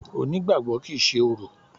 Onígbàgbọ́ kìí ṣe orò.